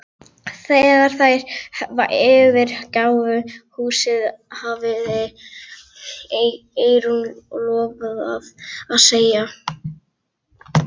Þegar þær yfirgáfu kaffihúsið hafði Eyrún lofað að segja